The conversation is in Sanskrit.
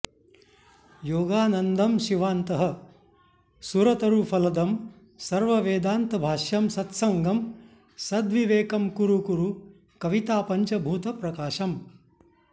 योगानन्दं शिवान्तः सुरतरुफलदं सर्ववेदान्तभाष्यं सत्सङ्गं सद्विवेकं कुरु कुरु कवितापञ्चभूतप्रकाशम्